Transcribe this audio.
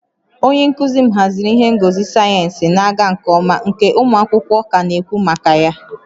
Onye nkuzi m haziri ihe ngosi sayensị na-aga nke ọma nke ụmụ akwụkwọ ka na-ekwu maka ya